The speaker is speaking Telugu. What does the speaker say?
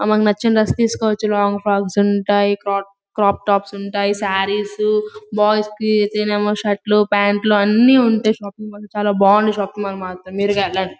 ఆ మనకి నచ్చిన డ్రెస్ తీసుకోవచ్చు. లాంగ్ ఫ్రొక్స్ ఉంటాయి. క్రోక్--క్రాప్ టాప్స్ ఉంటాయి. సారీస్ బోయ్స్ కి షర్ట్ లు ప్యాంటు లు అన్నీ ఉంటాయి. షాపింగ్ మాల్ లో చాలా బాగుంది. షాపింగ్ మాల్ మాత్రం మీరు వెళ్ళండి.